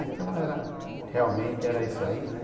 Então era, realmente era isso aí, né?